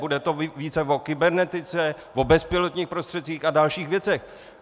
Bude to více o kybernetice, o bezpilotních prostředcích a dalších věcech.